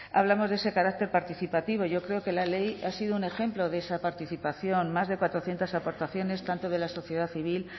hablamos de ese carácter participativo yo creo que la ley ha sido un ejemplo de esa participación más de cuatrocientos aportaciones tanto de la sociedad civil